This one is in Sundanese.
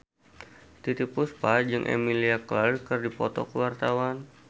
Titiek Puspa jeung Emilia Clarke keur dipoto ku wartawan